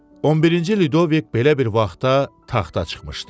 On birinci Lüdovik belə bir vaxtda taxta çıxmışdı.